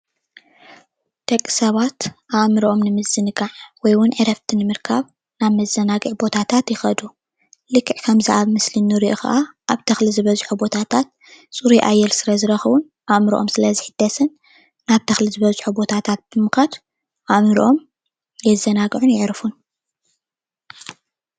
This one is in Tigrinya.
ደቂ ሰባት ኣእምሮኦም ንምዝንጋዕ ወይ ዉን ዕረፍቲ ንምርካብ ናብ መዘናግዒ ቦታታት ይኸዱ። ልክዕ ከምዚ ኣብ ምስሊ እንሪኦ ክዓ ኣብ ተክሊ ዝበዝሖ ቦታታት ፅሩይ ኣየር ስለዝረኽቡን ኣእምሮኦም ስለዝሕደሱን ናብ ተኽሊ ዝበዝሖ ቦታታት ብምኻድ ኣእምሮኦም የዘናግዑን የዕርፉን።